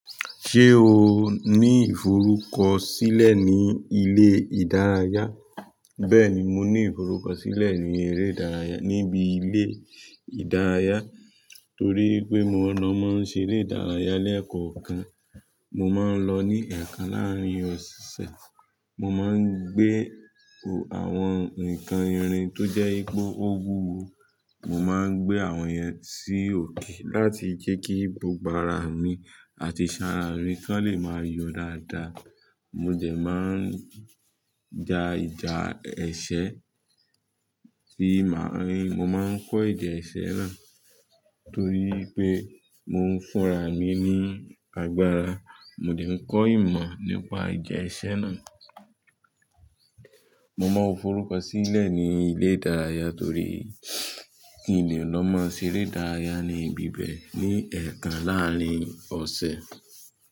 Ṣé o ní ìforúkọ̀sílẹ̀ ní ilé ìdárayá? Bẹẹni, mo ní ìforúkọ̀sílẹ̀ ní eré ìdárayá, níbi ilé ìdárayá torí wi pé mo lọ máa ń ṣe eré ìdárayá lẹ́ẹ̀kan kan. Mo máa ń lọ ní ẹ̀ẹ̀kan láàrin ọ̀sẹ̀. Mo máa ń gbé àwọn nǹkan ìrìn tó jẹ́ ipe ó owúwo. Mo máa ń gbé àwọn yẹn sí òkè láti jẹ́ kí gbogbo àrá mi àti ṣàn arà mí kan lè máa yọ̀ dáadáa. Mo dẹ máa ń ja ìjà ẹsẹ̀ sí màárìn. Mo máa ń kọ́ èdè ẹsẹ̀ náà torí pé mo ń fúnra ì mi ní agbára. Mo dẹ̀ ń kọ ìmọ̀ nípa ìjà ẹsẹ̀ náà. Mo máa ń forúkọ̀sílẹ̀ ní ilé ìdárayá torí kí n lè lọ máa ṣe eré ìdárayá ní ibi bẹ́ẹ̀ ní ẹ̀ẹ̀kan láàrin ọ̀sẹ̀.